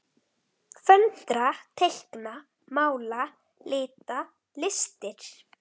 Föndra- teikna- mála- lita- listir